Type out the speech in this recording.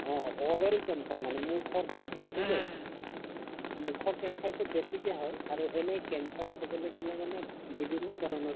অ, oral cancer মানে মুখৰ cancer যে যিটো মুখৰ cancer তো বেছিকে হয় আৰু এনেই cancer কবলে গলে মানে বিভিন্ন ধৰণৰ